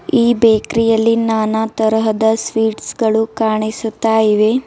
ಈ ಬೇಕರಿ ಯಲ್ಲಿ ನಾನಾ ತರಹದ ಸ್ವೀಟ್ಸ್ ಗಳು ಕಾಣಿಸುತ್ತಾ ಇವೆ.